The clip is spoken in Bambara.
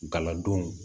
Galadonw